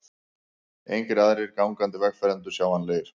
Engir aðrir gangandi vegfarendur sjáanlegir.